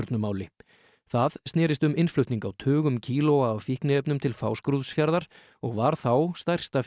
Pólstjörnumáli það snerist um innflutning á tugum kílóa af fíkniefnum til Fáskrúðsfjarðar og var þá stærsta